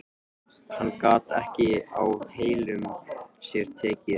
Hann gat ekki á heilum sér tekið.